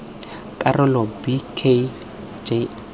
karolo b k g r